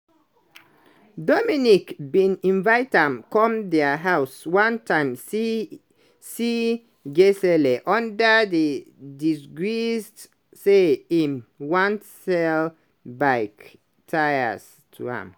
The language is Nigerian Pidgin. dominique bin invite am come dia house one time see gisèle under di disguise say im wan sell bike tyres to am.